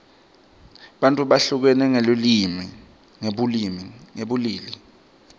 bantfu behlukene ngebulili